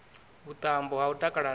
vhuṱambo ha u takala nae